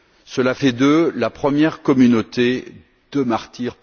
Cela fait d'eux la première communauté de martyrs.